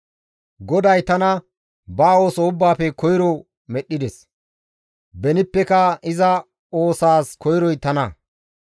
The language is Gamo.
«GODAY tana ba ooso ubbaafe koyro medhdhides; benippeka iza oosaas koyroy tana.